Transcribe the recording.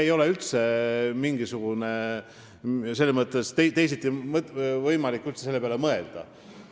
Teisiti ei ole üldse võimalik selle peale mõelda.